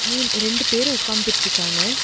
மூண் ரெண்டு பேர் உக்காந்துட்டு இருக்காங்க.